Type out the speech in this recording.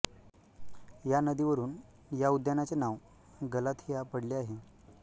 या नदीवरुन या उद्यानाचे नाव गलाथिया पडले आहे